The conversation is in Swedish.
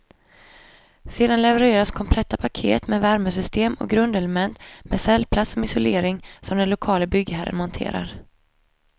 Sedan levereras kompletta paket med värmesystem och grundelement, med cellplast som isolering, som den lokale byggherren monterar.